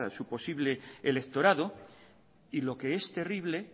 su posible electorado y lo que es terrible